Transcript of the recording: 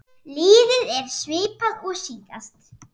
Liðið er svipað og síðast.